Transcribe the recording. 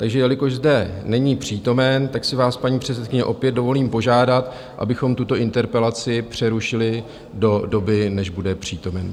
Takže jelikož zde není přítomen, tak si vás paní předsedkyně opět dovolím požádat, abychom tuto interpelaci přerušili do doby, než bude přítomen.